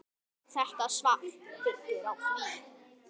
Þetta svar byggir á því.